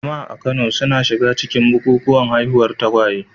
Jama'a a Kano suna shiga cikin bukukuwan haihuwar tagwaye.